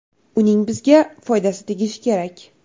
Uning bizga foydasi tegishi kerak.